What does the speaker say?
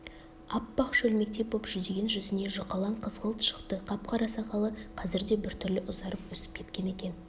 аппақ шөлмектей боп жүдеген жүзіне жұқалаң қызғылт шықты қап-қара сақалы қазірде біртүрлі ұзарып өсіп кеткен екен